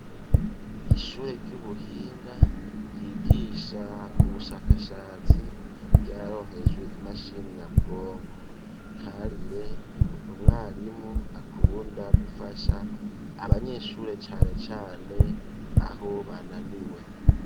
Ishure ry'ubuhinga ryigisha ubushakashatsi ryaronkejwe imashini nyabwonko ,Karire n'umwarimu akunda gufasha abanyeshure cane cane aho bananiwe.